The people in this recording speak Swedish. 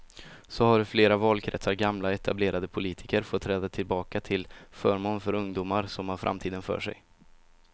Så har i flera valkretsar gamla etablerade politiker fått träda tillbaka till förmån för ungdomar som har framtiden för sig.